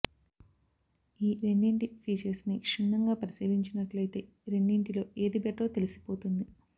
ఈ రెండింటి ఫీచర్స్ని క్షుణ్ణంగా పరిశీలించినట్లైతే రెండింటిలో ఏది బెటరో తెలిసిపోతుంది